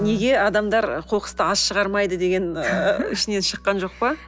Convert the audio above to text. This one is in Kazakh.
неге адамдар қоқысты аз шығармайды деген ыыы ішінен шыққан жоқ па